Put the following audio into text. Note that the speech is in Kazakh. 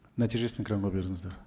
нәтижесін экранға беріңіздер